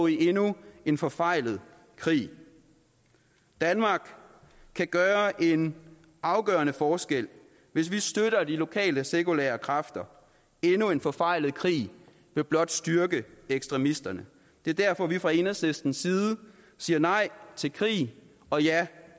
i endnu en forfejlet krig danmark kan gøre en afgørende forskel hvis vi støtter de lokale sekulære kræfter endnu en forfejlet krig vil blot styrke ekstremisterne det er derfor vi fra enhedslistens side siger nej til krig og ja